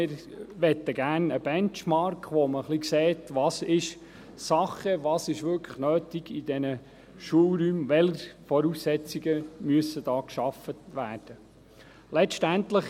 Wir möchten gerne einen Benchmark, mit dem man sieht, was wirklich Sache ist, was wirklich nötig ist in den Schulräumen, welche Voraussetzungen geschaffen werden müssen.